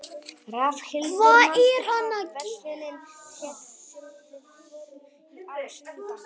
Rafnhildur, manstu hvað verslunin hét sem við fórum í á sunnudaginn?